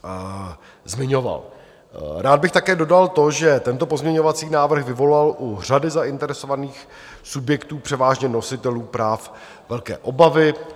Rád bych také dodal to, že tento pozměňovací návrh vyvolal u řady zainteresovaných subjektů, převážně nositelů práv, velké obavy.